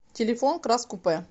телефон крас купе